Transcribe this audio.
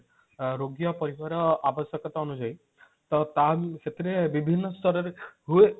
ରୋଗୀ ଆଉ ପରିବାର ଆବଶ୍ୟକତା ଅନୁଯାଇ ତ ତା ସେଥିରେ ବିଭିନ୍ନ ସ୍ତର ରେ ହୁଏ